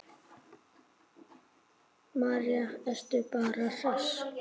María: Ertu bara hress?